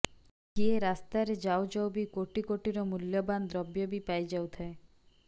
କିଏ ରାସ୍ତାରେ ଯାଉଯାଉ ବି କୋଟିକୋଟିରମୂଲ୍ୟବାନ ଦ୍ରବ୍ୟ ବି ପାଇଯାଉଥାଏ